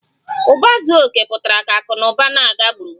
Uba zuo oke pụtara ka akụ na ụba na-aga gburugburu